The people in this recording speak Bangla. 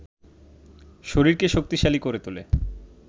শরীরকে শক্তিশালী করে তোলে